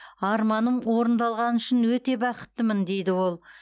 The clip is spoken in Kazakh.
арманым орындалғаны үшін өте бақыттымын дейді ол